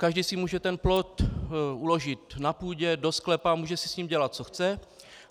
Každý si může ten plot uložit na půdě, do sklepa, může si s ním dělat co chce.